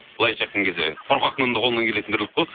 былайынша айтқан кезде қорқақтың да қолынан келетін тірлік қой